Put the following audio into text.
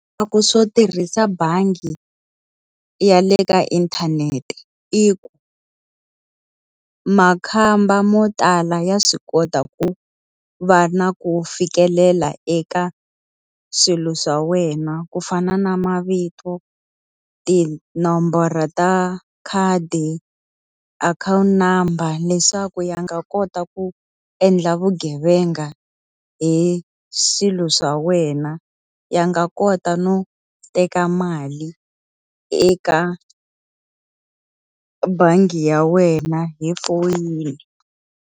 Swo tirhisa bangi ya le ka inthanete i ku. Makhamba mo tala ya swi kota ku va na ku fikelela eka swilo swa wena ku fana na mavito, tinomboro ta khadi, akhawunti number, leswaku ya nga kota ku endla vugevenga hi swilo swa wena. Ya nga kota no teka mali eka bangi ya wena hi foyini.